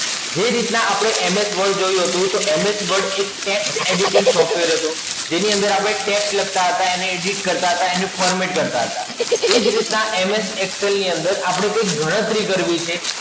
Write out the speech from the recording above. જે રીત ના આપણે MS Word જોયું હતું તો MS Word એક Text Editing Software હતું. જેની અંદર આપણે Text લખતા હતા એને Edit કરતાં હતા એને Format કરતાં હતા. એ જ રીતના MS Excel ની અંદર આપણે કઈક ગણતરી કરવી છે.